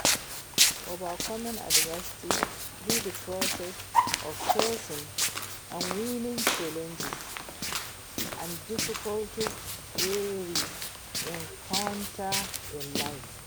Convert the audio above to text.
Overcoming adversity be di process of facing and winning challenges and difficulties wey we encounter in life.